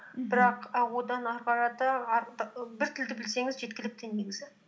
мхм бірақ і одан ары қарата бір тілді білсеңіз жеткілікті негізі